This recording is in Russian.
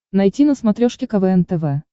найти на смотрешке квн тв